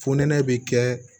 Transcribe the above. Fonɛnɛ bi kɛ